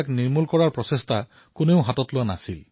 কিন্তু সমস্যা এয়াই আছিল যে ই সমাপ্ত হোৱাৰ নামেই নোলোৱা হৈছিল